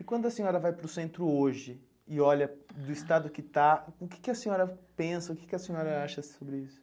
E quando a senhora vai para o centro hoje e olha do estado que está, o que que a senhora pensa, o que que a senhora acha sobre isso?